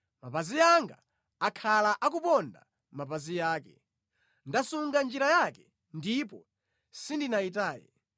Mapazi anga akhala akuponda mʼmapazi ake; ndasunga njira yake ndipo sindinayitaye.